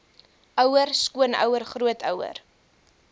ouer skoonouer grootouer